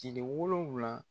Cile wolonwula